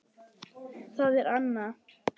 Það er Anna.